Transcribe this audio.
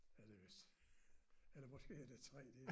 Er det vidst eller måske er det 3 det